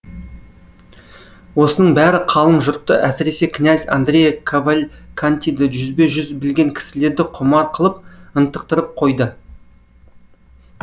осының бәрі қалың жұртты әсіресе князь андреа кавалькантиді жүзбе жүз білген кісілерді құмар қылып ынтықтырып қойды